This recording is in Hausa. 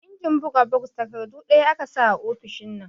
Injin bugs takardu ɗaya tak aka sa a ofishin nan